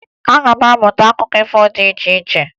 Aga m amụta akụkọ ifo dị iche iche.